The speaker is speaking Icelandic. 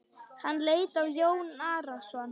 Hann leit á Jón Arason.